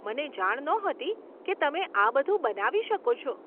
મને જાણ નહોતી કે તમે આ બધું બનાવી શકો છો.